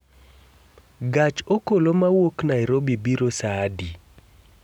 gach okolo mawuok Nairobi biro saa adi?